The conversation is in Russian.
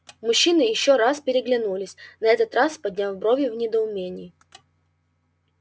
мужчины ещё раз переглянулись на этот раз подняв брови в недоумении